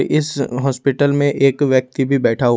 इस हॉस्पिटल में एक व्यक्ति भी बैठा हुआ--